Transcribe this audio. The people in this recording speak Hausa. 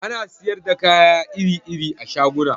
Ana siyar da kaya iri-iri a shaguna